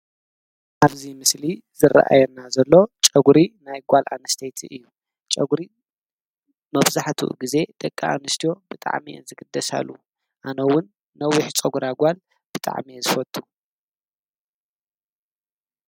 ኣብዚ ምስሊ ዝረአየና ዘሎ ጨጉሪ ናይ ጓል ኣነስተይቲ እዩ፡፡ ጨጉሪ መብዛሕትኡ ግዜ ደቂ ኣነስትዮ ብጣዕሚ እየን ዝግደሳሉ፡፡ ኣነውን ነዊሕ ፀጉራ ጓል ብጣዕሚ እየ ዝፈቱ፡፡